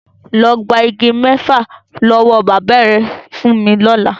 Lọ gba igi mẹ́fà lọ́wọ́ bàbá ẹ fún mi lọ́la!